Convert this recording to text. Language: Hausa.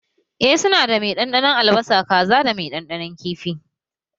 Eh su na da mai ɗanɗanon albasa, kaza da mai ɗanɗanon kifi